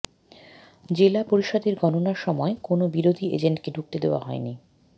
জেলা পরিষদের গণনার সময় কোনও বিরোধী এজেন্টকে ঢুকতে দেওয়া হয়নি